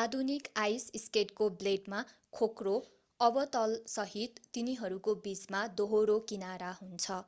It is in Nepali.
आधुनिक आइस स्केटको ब्लेडमा खोक्रो अवतलसहित तिनीहरूको बीचमा दोहोरो किनारा हुन्छ